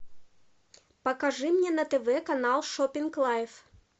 покажи мне на тв канал шопинг лайф